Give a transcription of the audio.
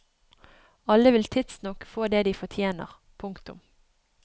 Alle vil tidsnok få det de fortjener. punktum